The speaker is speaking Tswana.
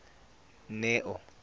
neo